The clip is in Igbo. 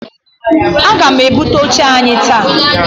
Aga m ebute oche anyị taa.